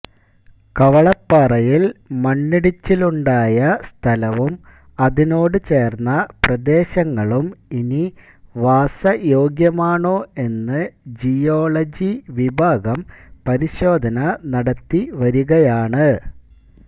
കവളപ്പാറയില് മണ്ണിടിച്ചിലുണ്ടായ സ്ഥലവും അതിനോട് ചേര്ന്ന പ്രദേശങ്ങളും ഇനി വാസയോഗ്യമാണോ എന്ന് ജിയോളജി വിഭാഗം പരിശോധന നടത്തിവരികയാണ്